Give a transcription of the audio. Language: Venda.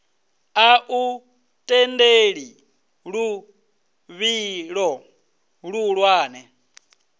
a u tendeli luvhilo luhulwane